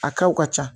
A kɛw ka ca